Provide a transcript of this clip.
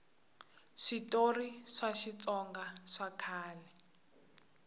switori swa xitsonga swa kala